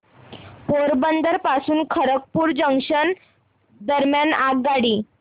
पोरबंदर पासून खरगपूर जंक्शन दरम्यान आगगाडी